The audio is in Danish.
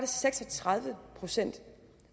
seks og tredive procent